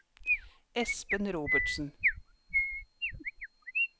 Espen Robertsen